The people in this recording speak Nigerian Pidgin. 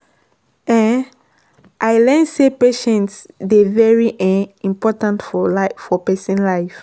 um i learn say patience dey very um important for pesin life.